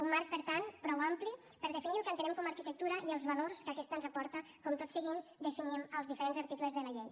un marc per tant prou ampli per definir el que entenem com a arquitectura i els valors que aquesta ens aporta com tot seguit definim als diferents articles de la llei